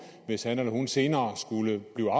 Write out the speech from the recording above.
hvis han eller hun senere skulle blive